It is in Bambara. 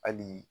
Hali